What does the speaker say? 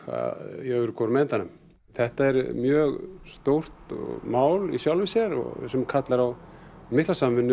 í öðrum hvorum endanum þetta er mjög stórt mál í sjálfu sér sem kallar á mikla samvinnu